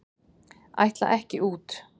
Ætla ekki út